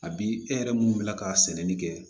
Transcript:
A bi e yɛrɛ munnu wulila ka sɛnɛni kɛ